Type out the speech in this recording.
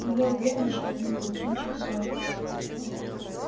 но я уверена что вы не зачинщик ссоры